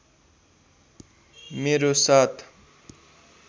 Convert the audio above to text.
मेरो साथ